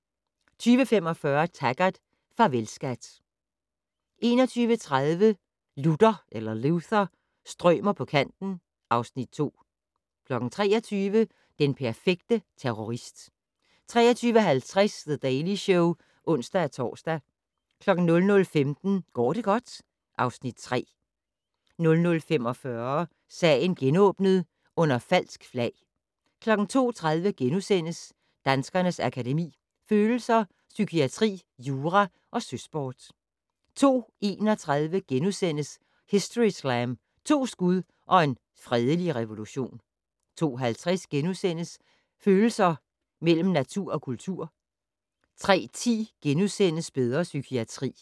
20:45: Taggart: Farvel, skat 21:30: Luther - strømer på kanten (Afs. 2) 23:00: Den perfekte terrorist 23:50: The Daily Show (ons-tor) 00:15: Går det godt? (Afs. 3) 00:45: Sagen genåbnet: Under falsk flag 02:30: Danskernes Akademi: Følelser, Psykiatri, Jura & Søsport * 02:31: Historyslam - To skud og en fredelig revolution * 02:50: Følelser mellem natur og kultur * 03:10: Bedre psykiatri *